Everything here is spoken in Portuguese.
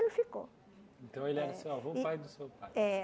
ficou. Então ele era seu avô pai do seu pai. É.